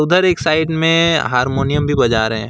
इधर एक साइड में हारमोनियम भी बजा रहे--